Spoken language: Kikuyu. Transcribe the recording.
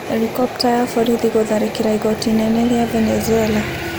Helikopta ya borithi gũtharĩkĩra igooti inene rĩa Venezuela